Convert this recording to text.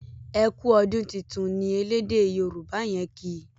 ẹkú ọdún títún ní ẹlẹdẹ yoruba yen kí.